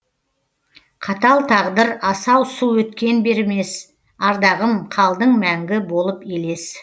қатал тағдыр асау су өткен бермес ардағым қалдың мәңгі болып елес